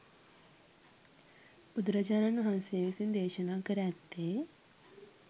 බුදුරජාණන් වහන්සේ විසින් දේශනා කර ඇත්තේ